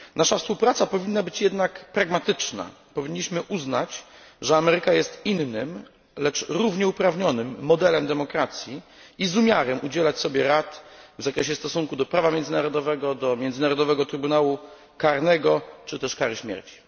Nasza współpraca powinna być jednak pragmatyczna powinniśmy uznać, że Ameryka jest innym, lecz równie uprawnionym modelem demokracji i z umiarem udzielać sobie rad w zakresie stosunku do prawa międzynarodowego, do Międzynarodowego Trybunału Karnego czy też kary śmierci.